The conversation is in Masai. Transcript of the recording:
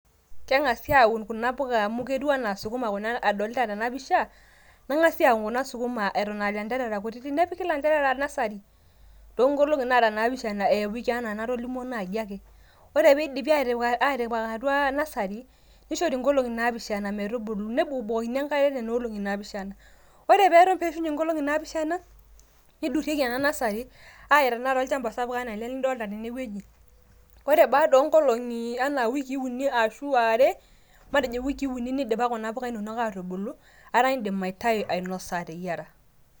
Kengasi aun kuna puka amu ketiu anaa sukuma kuna adolita nanu tena pisha, nengasi aun kuna sukuma eton aa lanterera kutitik, nepiki lanterera n nursery too nkolongi nara naapishana anaa enatolimwo naji ake ,ore piidipi atipik atua nursery ,nishori nkolongi naapishana metubulu nebukbukokini enkare too nena olongi naapishana ore per peishunye nkolongi naapishana ,nidurieki ena nursery aya olchamba sapuk anaa tenakata ele lidolita tene wueji ,ore baada o oonkolongi anaa wikii uniarashu are, matejo iwikii uni nidipa kuna puka inonok aatubulu etaa indim aitayu ainosa ateyiera.